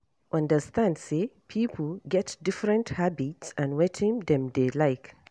Understand sey pipo get different habits and wetin dem dey like